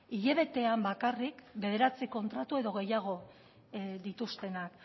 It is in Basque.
hilabetean bakarrik bederatzi kontratu edo gehiago dituztenak